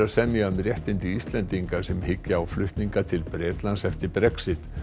að semja um réttindi Íslendinga sem hyggja á flutninga til Bretlands eftir Brexit